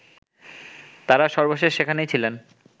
তারা সর্বশেষ সেখানেই ছিলেন